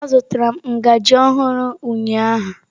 Azụtara m ngaji ọhụrụ ụnyaahụ.